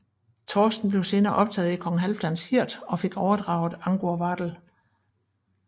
Thorsten blev senere optaget i kong Halfdans hird og fik overdraget Angurvadel